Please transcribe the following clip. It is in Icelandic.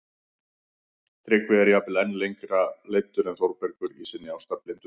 Tryggvi er jafnvel enn lengra leiddur en Þórbergur í sinni ástarblindu